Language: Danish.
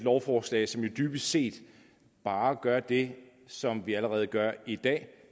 lovforslag som jo dybest set bare gør det som vi allerede gør i dag